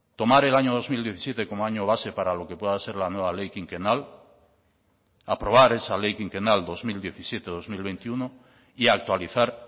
tomar el año dos mil diecisiete como año base para lo que pueda ser la nueva ley quinquenal aprobar esa ley quinquenal dos mil diecisiete dos mil veintiuno y actualizar